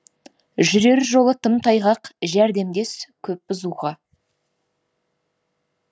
жүрер жолы тым тайғақ жәрдемдес көп бұзуға